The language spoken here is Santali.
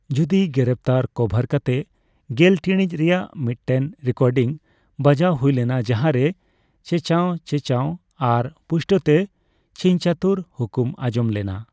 ᱡᱩᱨᱤ ᱜᱨᱮᱯᱛᱟᱨ ᱠᱚᱵᱷᱟᱨ ᱠᱟᱛᱮ ᱜᱮᱞ ᱴᱤᱲᱤᱡ ᱨᱮᱭᱟᱜ ᱢᱤᱫᱴᱮᱱ ᱨᱮᱠᱚᱨᱰᱤᱝ ᱵᱟᱡᱟᱣ ᱦᱩᱭᱞᱮᱱᱟ ᱡᱟᱦᱟᱸᱨᱮ ᱪᱮᱸᱪᱟᱣ ᱪᱮᱸᱪᱟᱣ ᱟᱨ ᱯᱩᱥᱴᱟᱣᱛᱮ ᱪᱷᱤᱝᱪᱷᱟᱹᱛᱩᱨ ᱦᱩᱠᱩᱢ ᱟᱸᱡᱚᱢ ᱞᱮᱱᱟ ᱾